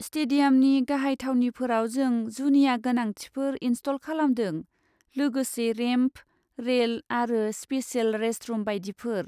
स्टेडियामनि गाहाय थावनिफोराव जों जुनिया गोनांथिफोर इनस्टल खालामदों, लोगोसे रेम्प, रेल आरो स्पेसेल रेस्टरुम बायदिफोर।